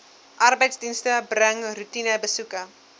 arbeidsdienste bring roetinebesoeke